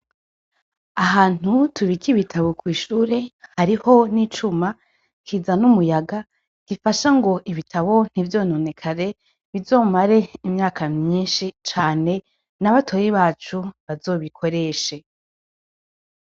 Ahantu tubika ibitabo kw'ishure hariho n'icuma kizana umuyaga gifasha ngo ibitabo ntivyononekare, bizomare imyaka myinshi cane na batoyi bacu bazobikoreshe.